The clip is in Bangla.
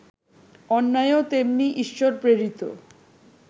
অন্যায়ও তেমনি ঈশ্বরপ্রেরিত